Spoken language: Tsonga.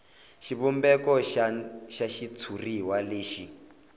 xivumbeko xa xitshuriwa lexi